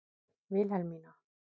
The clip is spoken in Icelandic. Vilhelmína